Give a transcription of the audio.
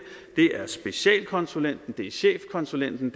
det er specialkonsulenten det er chefkonsulenten